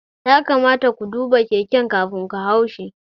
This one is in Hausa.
Ya kamata ku duba keken ku kafin ku haushi